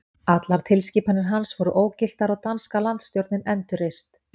Allar tilskipanir hans voru ógiltar og danska landsstjórnin endurreist.